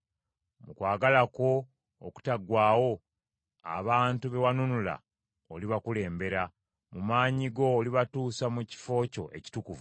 Mu kwagala kwo okutaggwaawo, abantu be wanunula olibakulembera. Mu maanyi go, olibatuusa mu kifo kyo ekitukuvu.